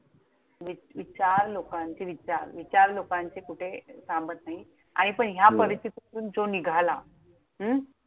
विचार लोकांचे विचार. विचार लोकांचे कुठे थांबत नाहीत. आणि पण ह्या परिस्थितीतून जो निघाला, हम्म